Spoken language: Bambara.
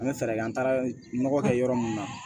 An bɛ fɛɛrɛ kɛ an taara nɔgɔ kɛ yɔrɔ min na